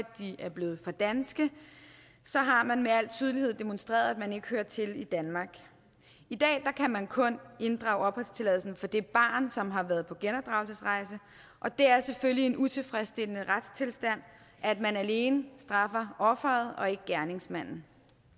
de er blevet for danske har man med al tydelighed demonstreret at man ikke hører til i danmark i dag kan man kun inddrage opholdstilladelsen for det barn som har været på genopdragelsesrejse og det er selvfølgelig en utilfredsstillende retstilstand at man alene straffer offeret og ikke gerningsmanden